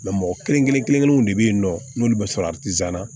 mɔgɔ kelen kelen kelen kelenw de be yen nɔ n'olu be sɔrɔ atizan na